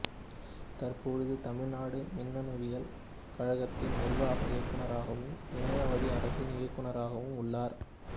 தற்போது தமிழ்நாடு மின்னணுவியல் கழகத்தின் நிர்வாக இயக்குனராகவும் இணைய வழி அரசின் இயக்குனராகவும் உள்ளார்